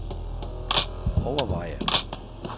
overveje